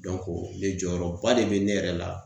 ne jɔyɔrɔ ba de be ne yɛrɛ la.